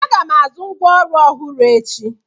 Aga m azụ ngwa ọrụ ọhụrụ echi.